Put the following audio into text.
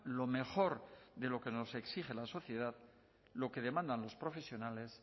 lo mejor de lo que nos exige la sociedad lo que demandan los profesionales